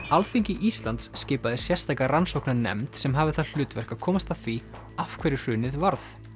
Alþingi Íslands skipaði sérstaka rannsóknarnefnd sem hafði það hlutverk að komast að því af hverju hrunið varð